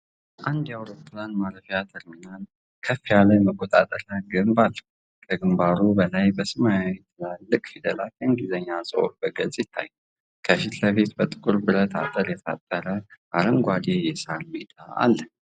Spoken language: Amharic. የአንድ አውሮፕላን ማረፊያ ተርሚናል ከፍ ያለ የመቆጣጠሪያ ግንብ አለው። ከግንባሩ በላይ በሰማያዊ ትላልቅ ፊደላት የእንግሊዝኛ ጽሑፍ በግልጽ ይታያል። ከፊት ለፊት በጥቁር ብረት አጥር የታጠረ አረንጓዴ የሣር ሜዳ አለ።